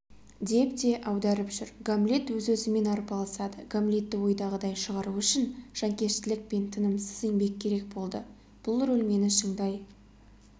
деп те аударып жүр гамлет өз-өзімен арпалысады гамлетті ойдағыдай шығару үшін жанкештілік пен тынымсыз еңбек керек болды бұл рөл мені шыңдай